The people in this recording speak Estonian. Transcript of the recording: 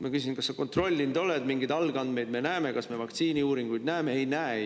" Ma küsisin: "Kas sa seda kontrollinud oled, kas me mingeid algandmeid näeme, kas me vaktsiiniuuringuid näeme?